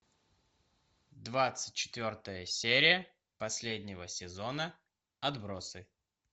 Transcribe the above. двадцать четвертая серия последнего сезона отбросы